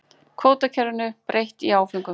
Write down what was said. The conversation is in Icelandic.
Kvótakerfinu breytt í áföngum